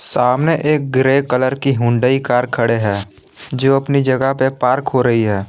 सामने एक grey colour की हुंडई कार खड़े हैं जो अपनी जगह पर पार्क हो रही है।